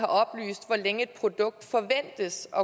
oplyst hvor længe et produkt forventes at